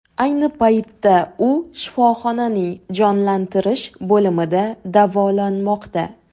Ayni paytda u shifoxonaning jonlantirish bo‘limida davolanmoqda.